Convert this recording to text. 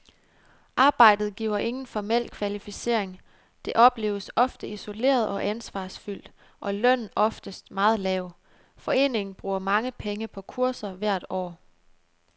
Arbejdet giver ingen formel kvalificering, det opleves ofte isoleret og ansvarsfyldt, og lønnen oftest meget lav. Foreningen bruger mange penge på kurser hvert år.